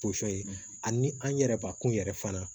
ani an yɛrɛbakun yɛrɛ fana